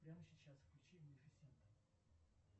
прямо сейчас включи малефисента